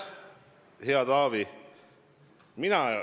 Hea Taavi!